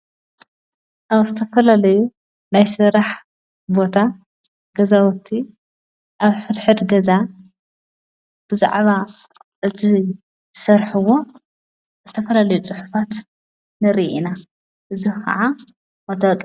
ኣብ ስተፈለለዩ ናይ ሠራሕ ቦታ ገዛወቱ ኣብ ሕድሕድ ገዛ ብዛዕባ እቲ ሠርሕዎ እስተፈለለዩ ጽሕፋት ነር ኢና እዝ ኸዓ ወታኣቓ።